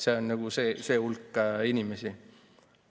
See on see hulk inimesi.